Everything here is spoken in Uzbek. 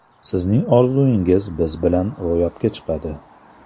Sizning orzuingiz biz bilan ro‘yobga chiqadi!